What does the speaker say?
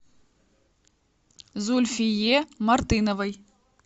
зульфие мартыновой